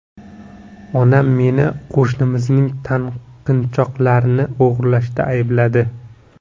Onam meni qo‘shnimizning taqinchoqlarini o‘g‘irlashda aybladi.